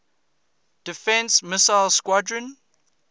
defense missile squadron